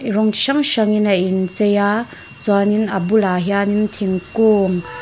rawng chi hrang hrangin a inchei a chuanin a bulah hianin thingkung--